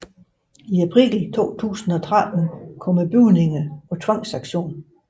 I april 2013 kom bygningerne på tvangsauktion